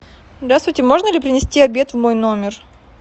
здравствуйте можно ли принести обед в мой номер